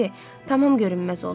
tamam görünməz oldu.